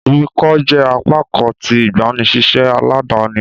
Emi ko jẹ apakan ti igbanisiṣẹ aladani